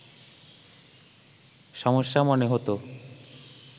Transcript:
সমস্যা মনে হতো